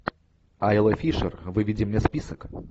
айла фишер выведи мне список